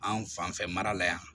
An fanfɛ mara la yan